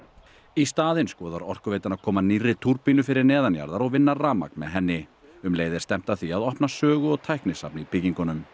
í staðinn skoðar Orkuveitan að koma nýrri túrbínu fyrir neðanjarðar og vinna rafmagn með henni um leið er stefnt að því að opna sögu og tæknisafn í byggingunum